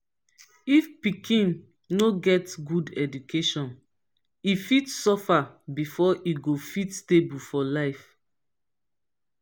if pikin no get good education e fit suffer before e go fit stable for life